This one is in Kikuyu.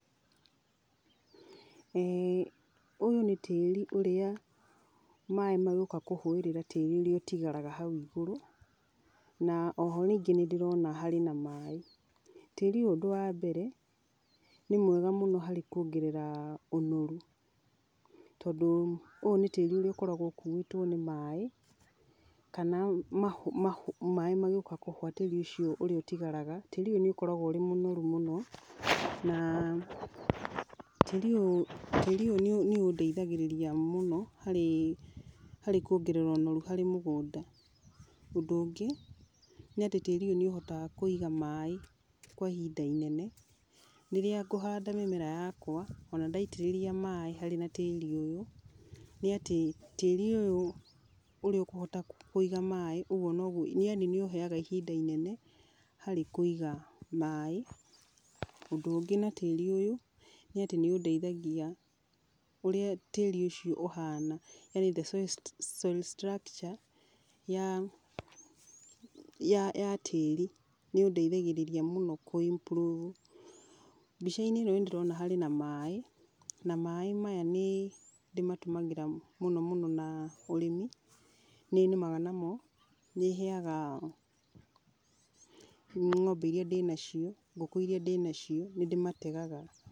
Ũyũ nĩ tĩri ũrĩa, maaĩ magĩũka kũhũĩrĩra tĩĩri ũrĩa ũtigaraga hau igũrũ, na o ho ningĩ nĩndĩrona harĩ na maaĩ. Tĩri ũyũ ũndũ wa mbere, nĩ mwega mũno harĩ kuongerera ũnoru. Tondũ ũyũ nĩ tĩri ũrĩa ũkoragwo ũkuĩtwo nĩ maaĩ, kana maaĩ magĩũka kũhũa tĩri ũrĩa ũtigaraga. Tĩri ũyũ nĩ ũkoragwo wĩ mũnorũ mũno, na tĩri ũyũ nĩ ũndeithagĩrĩria mũno harĩ kũongerera ũnorũ harĩ mũgũnda. Ũndũ ũngĩ nĩ atĩ tĩri ũyũ nĩ ũhotaga kũiga maaĩ kwa ihinda inene. Rĩrĩa ngũhanda mĩmera yakwa, o na ndaitĩrĩria maaĩ harĩ na tĩri ũyũ, nĩ atĩ tĩri ũyũ ũria ũkũhota kũiga maaĩ, ũguo noguo yaani nĩ ũheaga ihinda inene harĩ kuiga maaĩ. Ũndũ ũngĩ na tĩri ũyũ nĩ atĩ nĩ ũndeithagia, ũrĩa tĩĩri ũcio ũhana yani soil structure ya tĩri. Nĩ ũndeithagĩrĩria mũno kũ- improve. Mbica-inĩ ĩno nĩndĩrona harĩ na maaĩ, na maaĩ maya nĩndĩmatũmagĩra mũno mũno na ũrĩmi. Nĩ nĩmaga namo, nĩ heaga ngombe iria ndĩ nacio, ngũkũ iria ndĩ nacio, nĩ ndĩ mategaga.